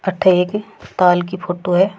अठे एक ताल की फोटो है।